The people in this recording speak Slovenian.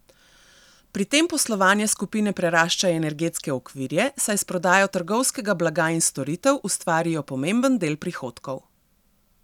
Pri tem poslovanje skupine prerašča energetske okvirje, saj s prodajo trgovskega blaga in storitev ustvarijo pomemben del prihodkov.